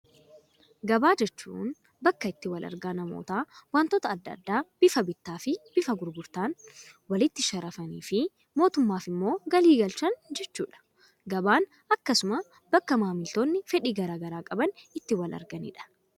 Gabaa jechuun bakka itti wal argaa namoota waantota addaa addaa bifa bittaa fi bifa gurgurtaan walitti sharafanii fi mootummaaf immoo galii galchan jechuudha. Gabaan akkasuma bakka maamiltoonni fedhii garaagaraa qaban itti wal arganidha.